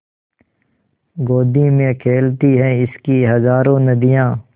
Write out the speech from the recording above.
गोदी में खेलती हैं इसकी हज़ारों नदियाँ